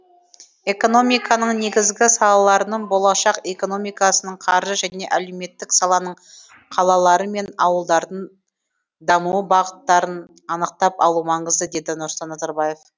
экономиканың негізгі салаларының болашақ экономикасының қаржы және әлеуметтік саланың қалалары мен ауылдардың даму бағыттарын анықтап алу маңызды деді нұрсұлтан назарбаев